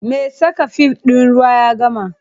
Me saka fif ɗin ruwa ya gama.